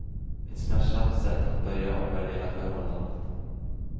Ett smärtsamt sätt att börja omvärdera förhållandet.